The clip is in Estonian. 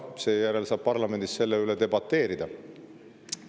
Seejärel saab parlamendis selle üle debateerida.